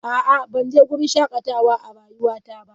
A'a, ban je wurin shakatawa a rayuwata ba.